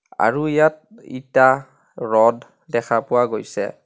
আৰু ইয়াত ইটা ৰদ দেখা পোৱা গৈছে।